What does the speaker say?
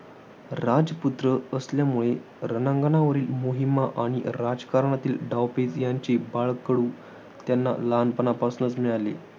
राजपुत्र असल्यामुळे रणांगणावरील मोहिमा आणि राजकारणातील डावपेच यांचे बाळकडू त्यांना लहानपणापासूनच मिळाले.